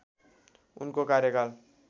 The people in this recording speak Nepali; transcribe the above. उनको कार्यकाल